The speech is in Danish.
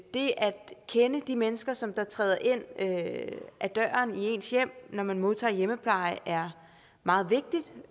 det at kende de mennesker som træder ind ad døren til ens hjem når man modtager hjemmepleje er meget vigtigt